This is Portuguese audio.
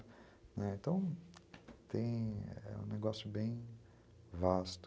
Né, então, tem, é um negócio bem vasto.